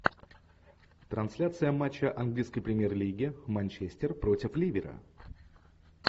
трансляция матча английской премьер лиги манчестер против ливера